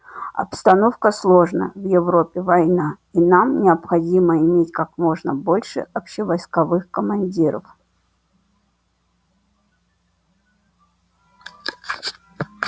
обстановка сложно в европе война и нам необходимо иметь как можно больше общевойсковых командиров